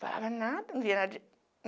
Falava nada,